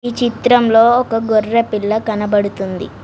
చిత్రంలో ఒక గొర్రె పిల్ల కనబడుతుంది.